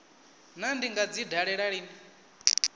naa ndi nga dzi dalela lini